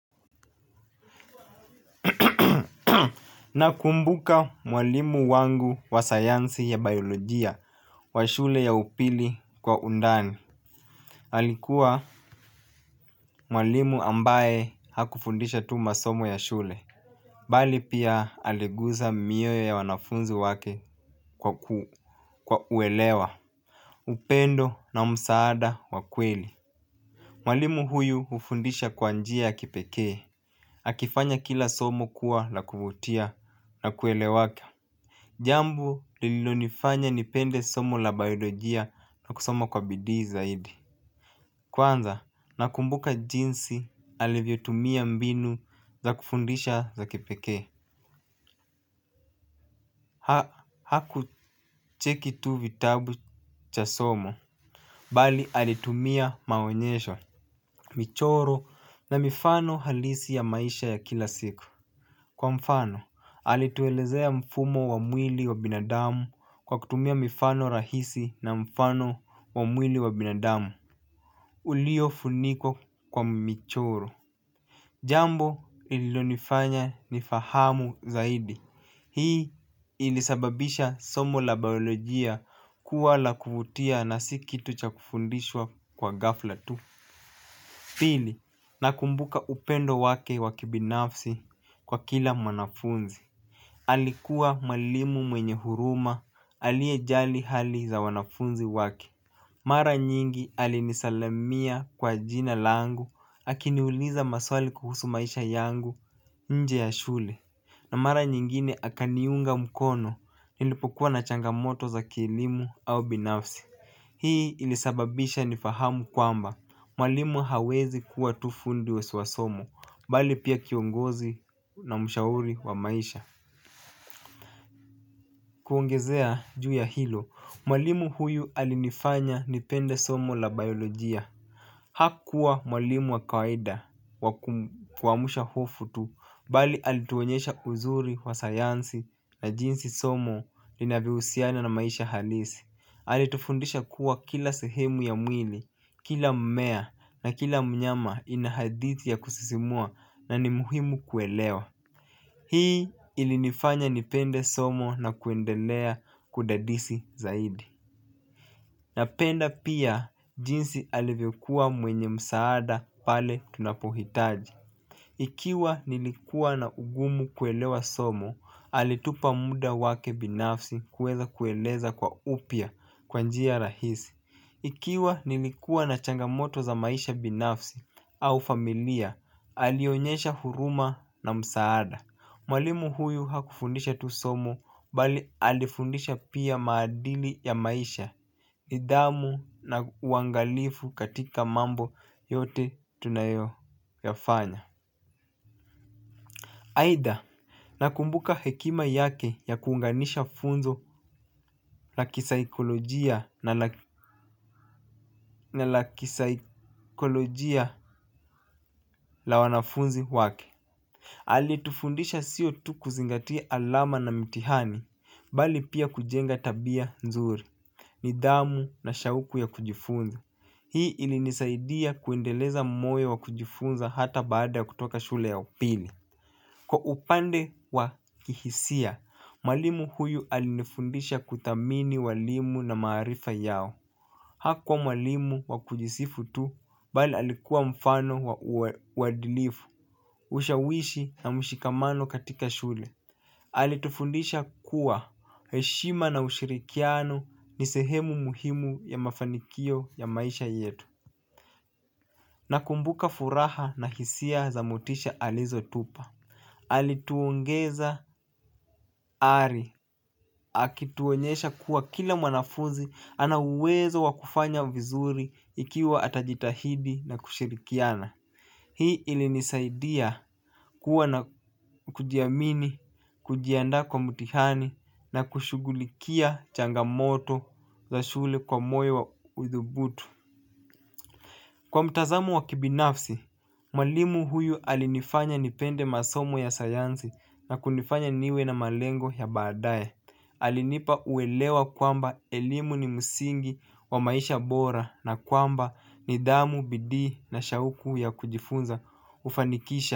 Nakumbuka mwalimu wangu wa sayansi ya biolojia wa shule ya upili kwa undani. Alikuwa mwalimu ambaye hakufundisha tu masomo ya shule. Bali pia aliguza miuyo ya wanafunzi wake kwa uelewa. Upendo na msaada wa kweli mwalimu huyu hufundisha kwa njia ya kipekee. Akifanya kila somo kuwa la kuvutia na kuelewake. Jambo lilo nifanya nipende somo la bayilojia na kusoma kwa bidii zaidi. Kwanza nakumbuka jinsi alivyo tumia mbinu za kufundisha za kipeke. Hakucheki tu vitabu cha somo bali alitumia maonyesho michoro na mifano halisi ya maisha ya kila siku kwa mfano alituelezea mifumo wa mwili ya binadamu kwa kutumia mifano rahisi na mfano wa mwili wa binadamu ulio funikwa kwa michoro. Jambo ilionifanya ni fahamu zaidi. Hii ilisababisha somo la baolojia kuwa la kuvutia na sikitu cha kufundishwa kwa gafla tu. Pili, nakumbuka upendo wake wakibinafsi kwa kila mwanafunzi alikuwa mwalimu mwenye huruma aliyejali hali za wanafunzi wake mara nyingi alinisalamia kwa jina langu akiniuliza maswali kuhusu maisha yangu nje ya shule. Na mara nyingine akaniunga mkono nilipokuwa na changamoto za kielimu au binafsi. Hii ilisababisha nifahamu kwamba mwalimu hawezi kuwa tufundi wa swasomo bali pia kiongozi na mshauri wa maisha. Kuongezea juu ya hilo, mwalimu huyu alinifanya nipende somo la biolojia. Hakua mwalimu wa kaida wakuwamusha hafu tu. Bali alituonyesha uzuri wa sayansi na jinsi somo linavyohusiana na maisha halisi. Alitufundisha kuwa kila sehemu ya mwili, kila mmea na kila mnyama ina hadithi ya kusisimua na ni muhimu kuelewa. Hii ilinifanya nipende somo na kuendelea kudadisi zaidi napenda pia jinsi alivyokuwaa mwemye msaada pale tunapohitaji. Ikiwa nilikua na ugumu kuelewa somo, alitupa muda wake binafsi kuweza kueleza kwa upya kwanjia rahisi. Ikiwa nilikuwa na changamoto za maisha binafsi au familia, alionyesha huruma na msaada. Mwalimu huyu hakufundisha tusomo bali alifundisha pia maadili ya maisha. Nidhamu na uangalifu katika mambo yote tunayo yafanya. Aidha nakumbuka hekima yake ya kuunganisha funzo la kisaikolojia na la kisaikolojia la wanafunzi wake. Alitufundisha sio tu kuzingatia alama na mitihani bali pia kujenga tabia nzuri. Nidhamu na shauku ya kujifunza. Hii ilinisaidia kuendeleza moyo wa kujifunza hata baada ya kutoka shule ya upili. Kwa upande wa kihisia, mwalimu huyu alinifundisha kuthamini walimu na maarifa yao. Hakuwa mwalimu wa kujisifu tu, bali alikuwa mfano uwadilifu. Ushawishi na mshikamano katika shule. Alitufundisha kuwa heshima na ushirikiano ni sehemu muhimu ya mafanikio ya maisha yetu. Nakumbuka furaha na hisia zamotisha alizo tupa. Alituongeza ari. Akituonyesha kuwa kila mwanafuzi ana uwezo wakufanya vizuri ikiwa atajitahidi na kushirikiana. Hii ili nisaidia kuwa na kujiamini, kujiandaa kwa mutihani na kushugulikia changamoto za shule kwa moyo wa udhubutu. Kwa mtazamo wa kibinafsi, malimu huyu alinifanya nipende masomo ya sayansi na kunifanya niwe na malengo ya baadaye. Alinipa uelewa kwamba elimu ni msingi wa maisha bora na kwamba n dhamu, bidii na shauku ya kujifunza ufanikisha.